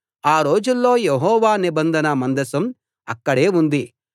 ఆ రోజుల్లో యెహోవా నిబంధన మందసం అక్కడే ఉంది